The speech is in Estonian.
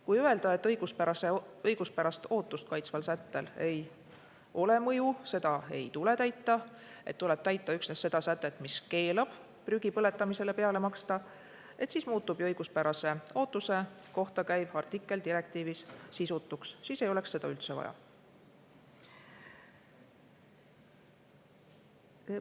Kui öelda, et õiguspärast ootust kaitsval sättel ei ole mõju, seda ei tule täita, et tuleb täita üksnes seda sätet, mis keelab prügi põletamisele peale maksta, siis muutub ju õiguspärase ootuse kohta käiv artikkel direktiivis sisutuks, siis ei oleks seda üldse vaja.